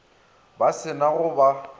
ba se na go ba